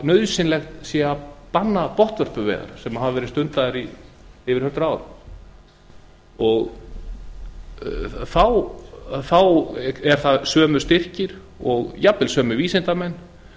nauðsyn þess að banna botnvörpuveiðar sem hafa verið stundaðar í yfir hundrað ár þá eru það sömu styrkir og jafnvel sömu vísindamenn